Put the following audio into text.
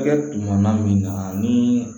Hakɛ dugumana min na ni